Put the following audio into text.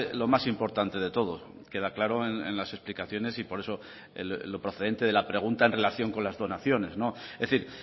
lo más importante de todo queda claro en las explicaciones y por eso lo procedente de la pregunta en relación con las donaciones es decir